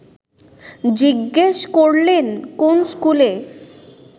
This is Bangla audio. জিজ্ঞেস করলেন, কোন স্কুলে